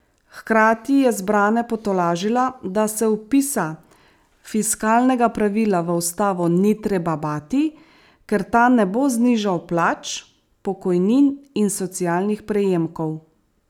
Hkrati je zbrane potolažila, da se vpisa fiskalnega pravila v ustavo ni treba bati, ker ta ne bo znižal plač, pokojnin in socialnih prejemkov.